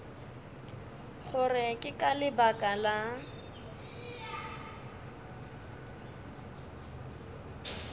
gore ke ka lebaka la